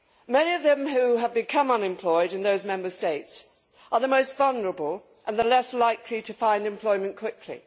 Many of those who have become unemployed in those Member States are the most vulnerable and the least likely to find employment quickly.